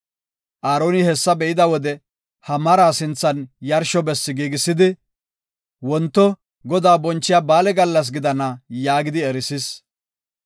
Aaroni hessa be7ida wode, he maraa sinthan yarsho besse giigisidi, “Wonto Godaa bonchiya ba7aale gallas gidana” yaagidi erisis.